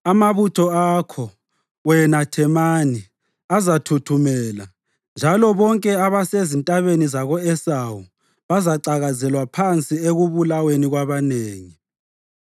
Amabutho akho, wena Themani, azathuthumela, njalo bonke abasezintabeni zako-Esawu bazacakazelwa phansi ekubulaweni kwabanengi.